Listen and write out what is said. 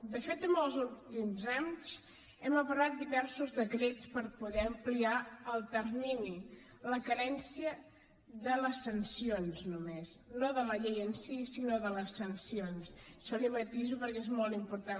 de fet els últims anys hem aprovat diversos decrets per poder ampliar el termini la carència de les sancions només no de la llei en si sinó de les sancions això li ho matiso perquè és molt important